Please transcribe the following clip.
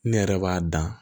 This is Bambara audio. Ne yɛrɛ b'a dan